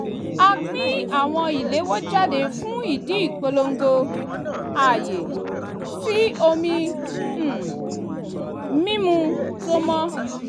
a pín àwọn ìléwọ́ jáde fún ìdí ìpolongo ààyè sí omi um mímu tó mọ́